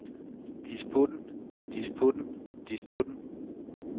disputten disputten disputten